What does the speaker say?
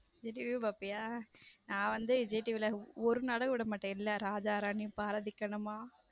Vijay TV பாப்பியா நான் வந்து விஜய் TV ல ஒரு நாடகமும் விடமாட்டேன் ராஜா ராணி, பாரதி கண்ணம்மா.